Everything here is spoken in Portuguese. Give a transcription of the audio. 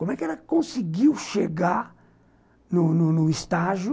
Como é que ela conseguiu chegar no no no estágio